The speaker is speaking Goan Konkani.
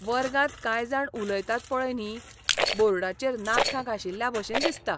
वर्गांत कांय जाण उलयतात पळय न्ही, बोर्डाचेर नाखटां घांशिल्ल्या भाशेन दिसता.